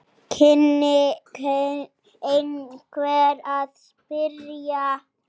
kynni einhver að spyrja.